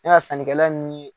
sannikɛla ninnu ye